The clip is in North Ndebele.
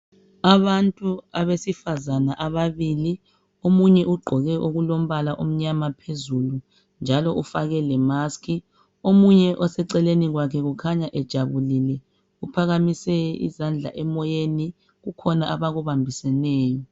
Abantu abesifazana ababili omunye ugqoke okulombala omnyama phezulu, njalo ufake lemusk. Omunye oseceleni kwakhe ukhanya ejabulile uphakamise izandla emoyeni kukhona abakubambiseneyo.